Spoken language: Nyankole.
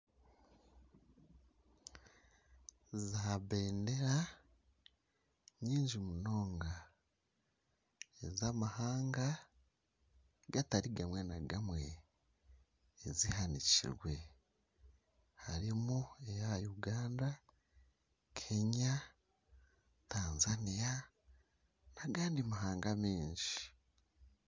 Za Bendera nyingi munonga eza amahanga gatari gamwe na gamwe ezihanikirwe harimu eya Uganda, Kenya ,Tanzania nana agandi mahanga maingi